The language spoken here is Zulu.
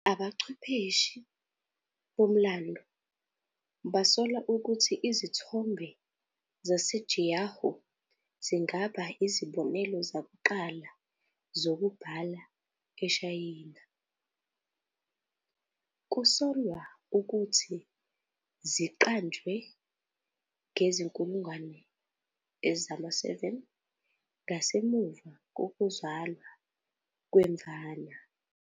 Abachwephesi bomlando basola ukuthi izithombe zase-Jiahu zingaba izibonelo zakuqala zokubhala eShayina - kusolwa ukuthi ziqanjwe ngezi-7,000, ngasemuva kokuzalwa kweMvana.